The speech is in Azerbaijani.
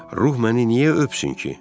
Ruh məni niyə öpsün ki?